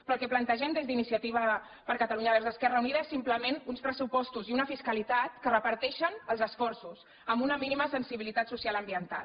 però el que plantegem des d’iniciativa per catalunya verds esquerra unida són simplement uns pressupostos i una fiscalitat que reparteixen els esforços amb una mínima sensibilitat social ambiental